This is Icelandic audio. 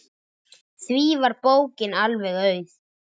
Því var bókin alveg auð.